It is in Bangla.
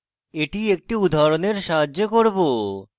এটি একটি উদাহরণের সাহায্যে করব